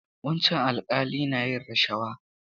Wancan alƙali na yin rashawa.